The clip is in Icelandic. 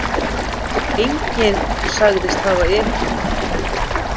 Enginn sagðist hafa ekið